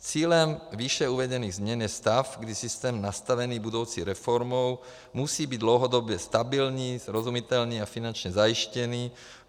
Cílem výše uvedených změn je stav, kdy systém nastavený budoucí reformou musí být dlouhodobě stabilní, srozumitelný a finančně zajištěný.